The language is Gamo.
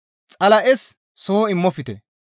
Xala7es soho immofte.